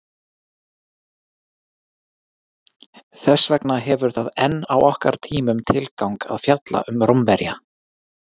Þess vegna hefur það enn á okkar tímum tilgang að fjalla um Rómverja.